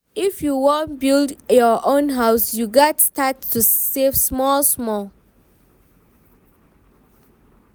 If you wan build your own house, you gats start to save small-smal.